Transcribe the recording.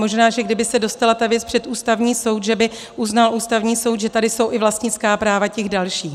Možná, že kdyby se dostala ta věc před Ústavní soud, že by uznal Ústavní soud, že tady jsou i vlastnická práva těch dalších.